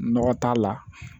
Nɔgɔ t'a la